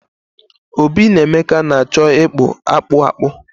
Obi na Emeka na-acho ikpu akpu akpu